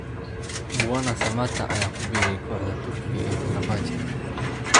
Mbwana Samatta ayaa ku biiray kooxda Turkiga ee Fenerbahce